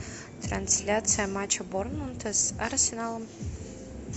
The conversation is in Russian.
трансляция матча борнмута с арсеналом